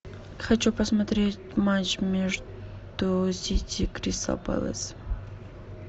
хочу посмотреть матч между сити кристал пэлас